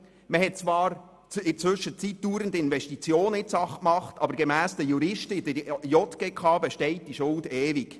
In der Zwischenzeit hat man zwar laufend in die Sache investiert, aber gemäss den Juristen in der JGK besteht diese Schuld ewig.